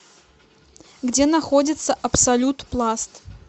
где находится абсолют пласт